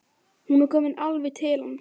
Hún er komin alveg til hans.